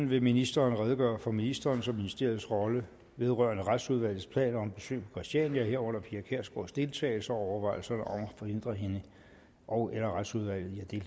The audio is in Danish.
vil ministeren redegøre for ministerens og ministeriets rolle vedrørende retsudvalgets planer om besøg på christiania herunder pia kjærsgaards deltagelse og overvejelserne om at forhindre hende ogeller retsudvalget i